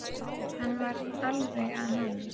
Hann var alveg að ná mér